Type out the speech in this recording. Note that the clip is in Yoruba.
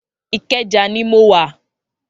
Ikeja ni mó wá